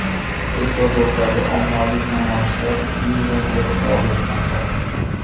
Ekvadordagi ommaviy namoyishlar iyundan beri davom etmoqda.